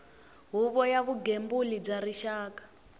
huvo ya vugembuli bya rixaka